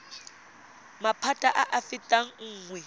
maphata a a fetang nngwe